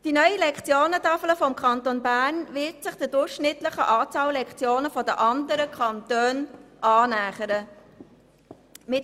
Die neue Lektionentafel des Kantons Bern wird sich der durchschnittlichen Lektionenzahl der anderen Kantone annähern.